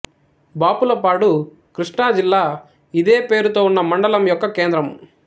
బాపులపాడు కృష్ణా జిల్లా ఇదే పేరుతో ఉన్న మండలం యొక్క కేంద్రము